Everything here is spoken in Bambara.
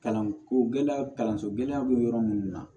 Kalanko gɛlɛya kalanso gɛlɛya bɛ yɔrɔ minnu na